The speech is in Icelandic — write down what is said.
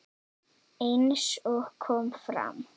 Eins og kom fram